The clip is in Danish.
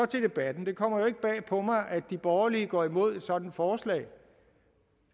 til debatten det kommer jo ikke bag på mig at de borgerlige går imod et sådant forslag det